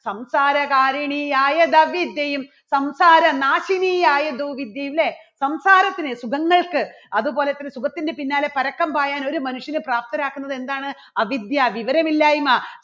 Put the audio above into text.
സംസാരകാരിണി ആയധ വിദ്യയും സംസാരനാശിനി ആയതു വിദ്യയും അല്ലേ സംസാരത്തിന് സുഖങ്ങൾക്ക് അതുപോലെതന്നെ സുഖത്തിന്റെ പിന്നാലെ പരക്കം പായാൻ ഒരു മനുഷ്യനെ പ്രാപ്തനാക്കുന്നത് എന്താണ് അവിദ്യ വിവരമില്ലായ്മ